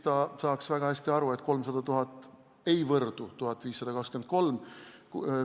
Ta saaks väga hästi aru, et 300 000 ei võrdu 1523-ga.